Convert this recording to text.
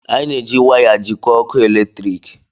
Anyị na-eji waya jikọọ ọkụ eletrik